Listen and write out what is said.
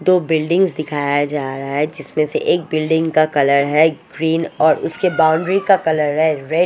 दो बिल्डिंग्स दिखाया जा रहा है जिसमे से एक बिल्डिंग का कलर है ग्रीन और उसके बाउंड्री का कलर है रेड --